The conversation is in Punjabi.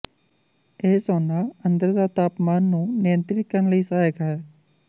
ਇਹ ਸੌਨਾ ਅੰਦਰ ਦਾ ਤਾਪਮਾਨ ਨੂੰ ਨਿਯੰਤ੍ਰਿਤ ਕਰਨ ਲਈ ਸਹਾਇਕ ਹੈ